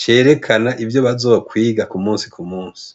cerekana ivyo bazokwiga ku musi ku musi.